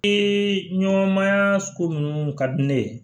Ee ɲɔgɔnmaa ko minnu ka di ne ye